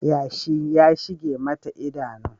Yashi ya shige mata idanu